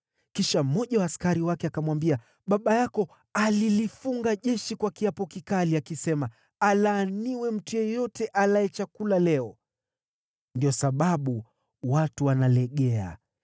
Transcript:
Kisha mmoja wa askari wake akamwambia, “Baba yako alilifunga jeshi kwa kiapo kikali, akisema, ‘Alaaniwe mtu yeyote alaye chakula leo!’ Ndiyo sababu watu wanalegea.”